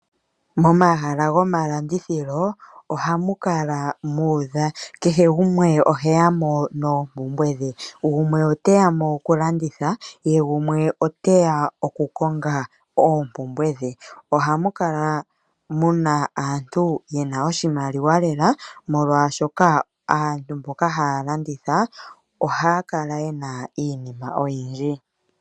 Momahala gomalandithilo ohamu kala mwa udha, kehe gumwe oheya mo noompumbwe dhe. Gumwe oteya mo okulanditha, ye gumwe oteya okukonga oompumbwe dhe. Ohamu kala muna aantu yena oshimaliwa lela, molwashoka aantu mboka haya landitha ohaya kala yena iinima oyindji.